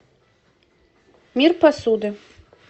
мир посуды